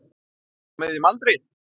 Maður á miðjum aldri.